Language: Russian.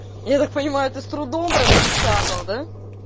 я так понимаю ты с трудом припечатал да